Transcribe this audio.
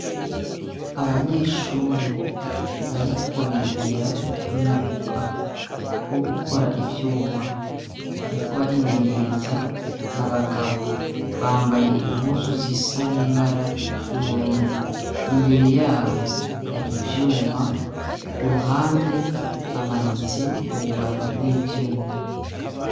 Abanyeshuri bariko bigira umwuga wo gukora ivyuma ariko barimenyereza na bagabo bambaye impuzu zisa n'ibara ry'ubururu imbere yabo hari ibyuma ku ruhande hamanitse ububati bw'ivyuma.